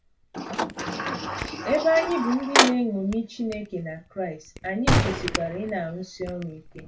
Ebe anyị bụ ndị na na - eṅomi Chineke na Kraịst, anyị kwesịkwara ịna - arụsi ọrụ ike.